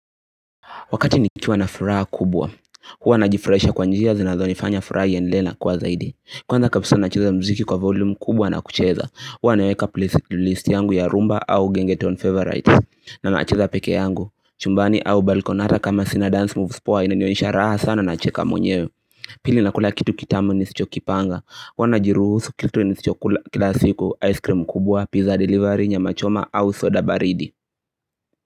Wakati nikiwa na furaha kubwa, huwa najifurahisha kwa njia zinazonifanya furaha iendelee na kuwa zaidi. Kwanza kapsaa nacheza mziki kwa volume kubwa na kucheza, huwa naweka playlist yangu ya rhumba au gengetown favorites na nacheza peke yangu, chumbani au balkoni ata kama sina dance moves poa inanionesha raha sana nacheka mwenyewe Pili nakula kitu kitamu nisichokipanga, huwa najiruhusu kitu nisichokula kila siku, ice cream kubwa, pizza delivery, nyama choma au soda baridi.